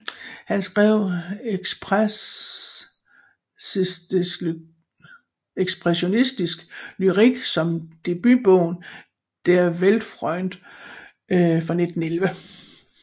Han skrev ekspressionistisk lyrik som debutbogen Der Weltfreund fra 1911